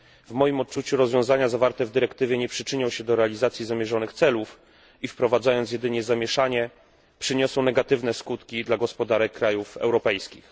W moim odczuciu rozwiązania zawarte w dyrektywie nie przyczynią się do realizacji zamierzonych celów i, wprowadzając jedynie zamieszanie, przyniosą negatywne skutki dla gospodarek krajów europejskich.